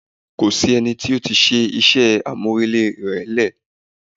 Kò sí ẹnì tí ó ti ṣe iṣẹ́ àmùrè lè rẹ̀.